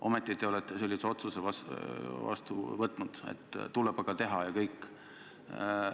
Ometi te olete sellise otsuse vastu võtnud: tuleb aga teha, ja kõik.